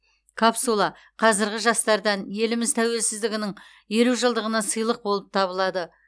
капсула қазіргі жастардан еліміз тәуелсіздігінің елу жылдығына сыйлық болып табылады